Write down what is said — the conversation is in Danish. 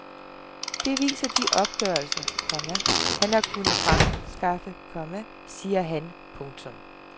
Det viser de opgørelser, komma han har kunnet fremskaffe, komma siger han. punktum